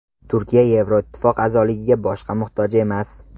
Turkiya Yevroittifoq a’zoligiga boshqa muhtoj emas.